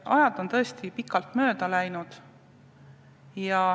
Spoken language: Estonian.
Aega on tõesti palju mööda läinud.